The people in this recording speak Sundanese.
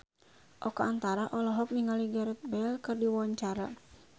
Oka Antara olohok ningali Gareth Bale keur diwawancara